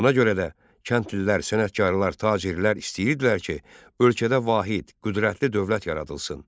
Buna görə də kəndlilər, sənətkarlar, tacirlər istəyirdilər ki, ölkədə vahid, qüdrətli dövlət yaradılsın.